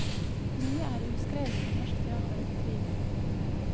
Mye er uskrevet om norsk teater etter krigen.